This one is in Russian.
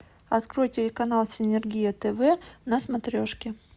открой телеканал синергия тв на смотрешке